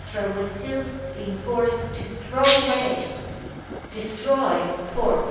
was still being forced to throw away and destroy pork.